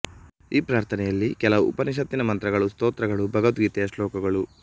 ಈ ಪ್ರಾರ್ಥನೆಯಲ್ಲಿ ಕೆಲವು ಉಪನಿಷತ್ತಿನ ಮಂತ್ರಗಳು ಸ್ತ್ರೋತ್ರಗಳು ಭಗವದ್ಗೀತೆಯ ಶ್ಲೋಕಗಳು